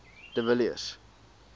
de villiers